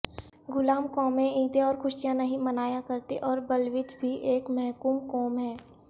غلام قومیں عیدیں اور خوشیاں نہیں منایا کرتیں اور بلوچ بھی ایک محکوم قوم ہے